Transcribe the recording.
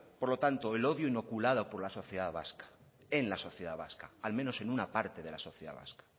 por lo tanto el odio inoculado por la sociedad vasca en la sociedad vasca al menos en una parte de la sociedad vasca